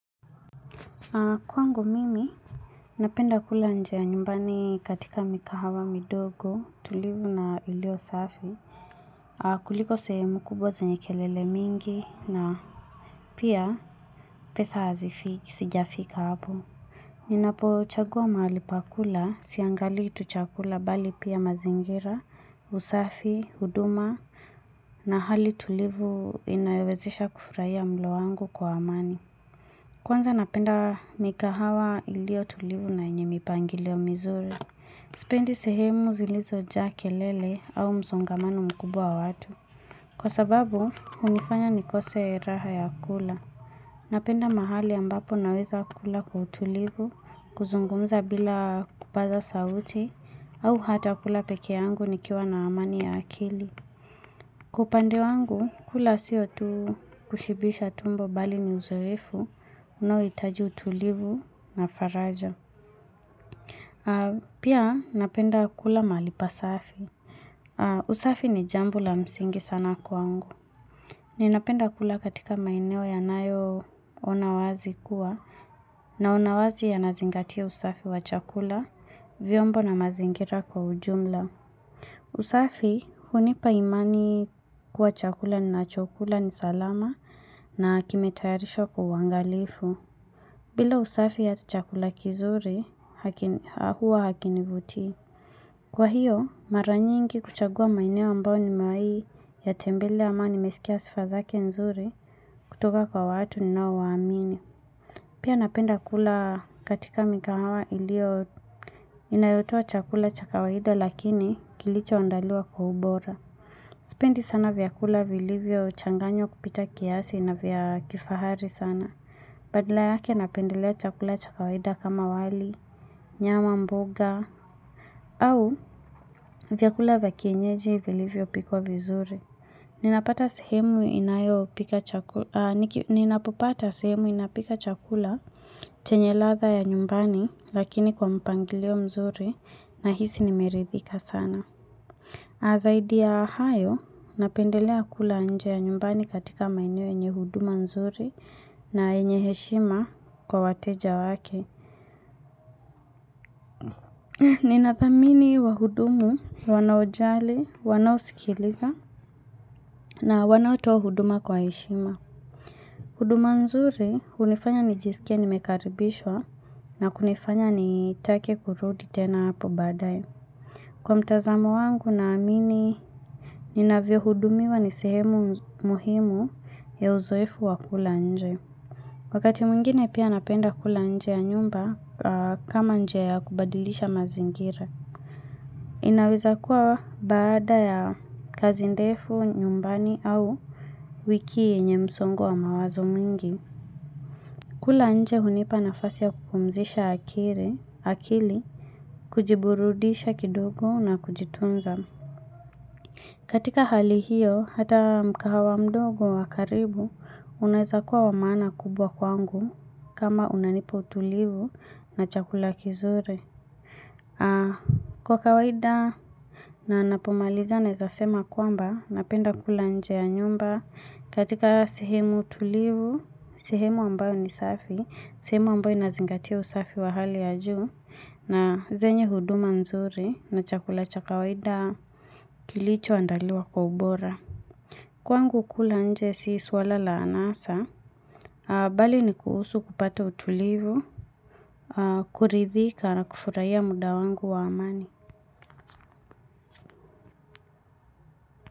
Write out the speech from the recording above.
Kwangu mimi, napenda kula nje ya nyumbani katika mikahawa midogo, tulivu na ilio safi. Kuliko sehemu kubwa zenye kelele mingi, na pia pesa hazifiki, sijafika hapo. Ninapochagua mahali pa kula, siangali tu chakula bali pia mazingira, usafi, huduma, na hali tulivu inayowezesha kufurahia mlo wangu kwa amani. Kwanza napenda mikahawa iliotulivu na yenye mipangilio mizuri. Sipendi sehemu zilizojaa kelele au msongamano mkubwa wa watu. Kwa sababu, hunifanya nikose raha ya kula. Napenda mahali ambapo naweza kula kwa utulivu, kuzungumza bila kupasa sauti, au hata kula pekee yangu nikiwa na amani ya akili. Kwa upande wangu, kula siyo tu kushibisha tumbo bali ni uzoefu. Unauhitaji utulivu na faraja. Pia napenda kula mahali pasafi. Usafi ni jambu la msingi sana kwangu. Ninapenda kula katika maeneo yanayoona wazi kuwa naona wazi yanazingatia usafi wa chakula vyombo na mazingira kwa ujumla. Usafi hunipa imani kuwa chakula ninachakula ni salama na kimetayarishwa kwa uangalifu. Bila usafi ya chakula kizuri, huwa hakinivutii. Kwa hiyo, mara nyingi huchagua maeneo ambayo nimewahi yatembele ama nimesikia sifa zake nzuri kutoka kwa watu ninaowaamini. Pia napenda kula katika mikahawa inayotoa chakula cha kawaida lakini kilichoandalua kwa ubora. Sipendi sana vyakula vilivyo changanywa kupita kiasi na vya kifahari sana. Badala yake napendelea chakula cha kawaida kama wali, nyama mboga, au vyakula vya kienyeji vilivyo pikwa vizuri. Ninapopata sehemu inayopika chakula chenye latha ya nyumbani lakini kwa mpangilio mzuri nahisi nimeridhika sana. Na zaidi ya hayo, napendelea kula nje ya nyumbani katika maineo yenye huduma nzuri na yenye heshima kwa wateja wake. Ninathamini wahudumu, wanaojali, wanaosikiliza na wanaotoa huduma kwa heshima. Huduma nzuri hunifanya nijisikie nimekaribishwa na kunifanya nitake kurudi tena hapo baadaye. Kwa mtazamo wangu naamini, ninavyohudumiwa ni sehemu muhimu ya uzoefu wa kula nje. Wakati mwingine pia napenda kula nje ya nyumba kama nje ya kubadilisha mazingira. Inaweza kuwa baada ya kazi ndefu, nyumbani au wiki yenye msongo wa mawazo mingi. Kula nje hunipa nafasi ya kukumzisha akili, kujiburudisha kidogu na kujitunza. Katika hali hiyo, hata mkahawa mdogo wa karibu, unaeza kuwa wa maana kubwa kwangu kama unanipa utulivu na chakula kizuri. Kwa kawaida, na napomaliza naeza sema kwamba, napenda kula nje ya nyumba. Katika sehemu tulivu, sehemu ambayo ni safi, sehemu ambayo inazingatia usafi wa hali ya juu, na zenye huduma mzuri na chakula cha kawaida. Kilichoandaliwa kwa ubora. Kwangu kula nje si swala la anasa, bali ni kuhusu kupata utulivu kuridhika na kufurahia muda wangu wa amani.